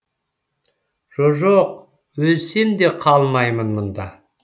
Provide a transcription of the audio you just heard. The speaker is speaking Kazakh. жо жоқ өлсем де қалмаймын мұнда